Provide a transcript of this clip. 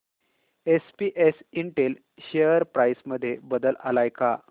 SPS Intel share price मध्ये बदल आलाय का